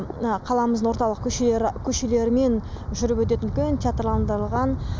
мына қаламыздың орталық көшелерімен жүріп өтетін үлкен театрландырылған